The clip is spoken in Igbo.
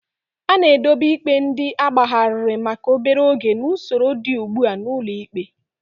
A na-edobe ikpe ndị agbagharịrị maka obere oge n'usoro dị ugbu a n'ụlọ ikpe.